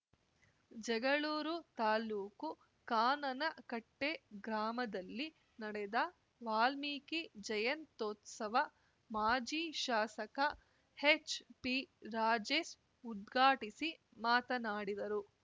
ಜಗಳೂರು ತಾಲುಕು ಕಾನನಕಟ್ಟೆಗ್ರಾಮದಲ್ಲಿ ನಡೆದ ವಾಲ್ಮೀಕಿ ಜಯಂತ್ಯೋತ್ಸವ ಮಾಜಿ ಶಾಸಕ ಎಚ್‌ಪಿರಾಜೇಶ್‌ ಉದ್ಘಾಟಿಸಿ ಮಾತನಾಡಿದರು